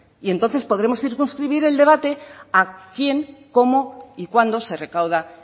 y entonces podremos circunscribir el debate a quién cómo y cuándo se recauda